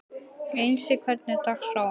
Einsi, hvernig er dagskráin?